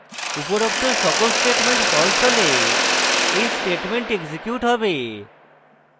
উপরোক্ত সকল statements false হলে when statements এক্সিকিউট হবে